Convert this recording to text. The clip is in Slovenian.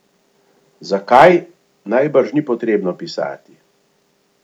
Zakaj, najbrž ni potrebno pisati.